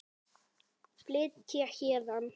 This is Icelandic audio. Flytja héðan.